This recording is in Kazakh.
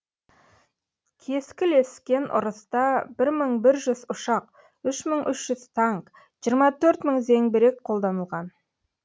кескілескен ұрыста бір мың бір жүз ұшақ үш мың үш жүз танк жиырма төрт мың зеңбірек қолданылған